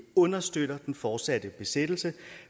understøtter den fortsatte besættelse